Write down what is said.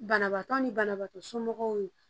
Banabaatɔ ni banabaatɔ somɔgɔw ye